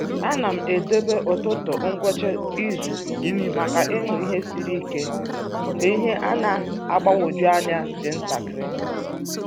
A na m edobe ụtụtụ ngwụsị izu maka ịmụ ihe siri ike mgbe ihe na-agbagwoju anya dị ntakịrị.